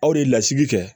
Aw de ye lasigi kɛ